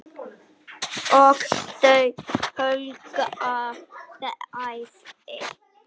Og þau hlógu bæði.